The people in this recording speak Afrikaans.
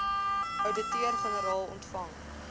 ouditeur generaal ontvang